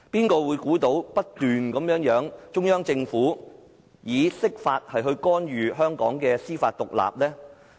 誰會想到中央政府會不斷以釋法來干預香港的司法獨立？